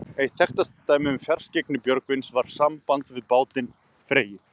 Eitt þekktasta dæmið um fjarskyggni Björgvins var í sambandi við bátinn Freyju.